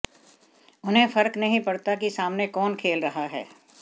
उन्हें फर्क नहीं पड़ता कि सामने कौन खेल रहा है